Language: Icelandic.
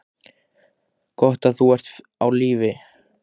Gott að þú ert á lífi.